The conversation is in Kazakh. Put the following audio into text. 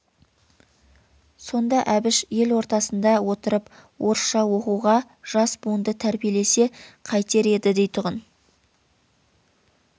сонда әбіш ел ортасында отырып орысша оқуға жас буынды тәрбиелесе қайтер еді дейтұғын